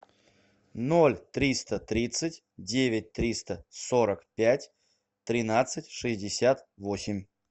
ноль триста тридцать девять триста сорок пять тринадцать шестьдесят восемь